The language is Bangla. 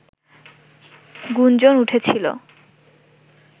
গুঞ্জন উঠেছিল